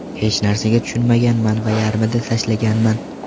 Hech narsaga tushunmaganman va yarmida tashlaganman.